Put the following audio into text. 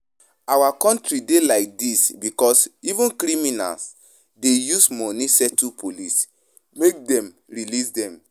Our country dey like dis because even criminals dey use money settle police make dem release dem